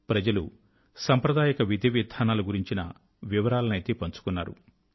ప్రజలు సాంప్రదాయక విధివిధానాల గురించిన వివరాలనయితే పంచుకున్నారు